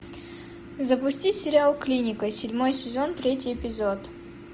запусти сериал клиника седьмой сезон третий эпизод